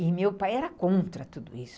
E meu pai era contra tudo isso.